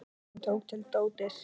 Hann tók til dótið.